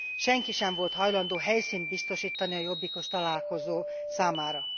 Senki sem volt hajlandó helyszínt biztosítani a jobbikos találkozó számára.